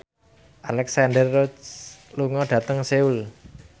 Alexandra Roach lunga dhateng Seoul